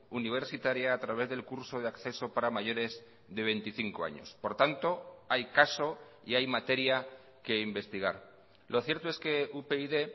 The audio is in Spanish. universitaria a través del curso de acceso para mayores de veinticinco años por tanto hay caso y hay materia que investigar lo cierto es que upyd